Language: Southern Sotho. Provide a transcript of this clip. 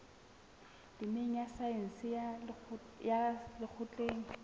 temeng ya saense ya lekgotleng